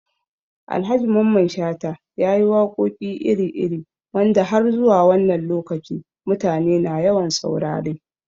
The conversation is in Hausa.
Alhaji Mamman Shata ya yi waƙoƙi iri-iri wanda har zuwa wannan lokaci mutane na yawan saurare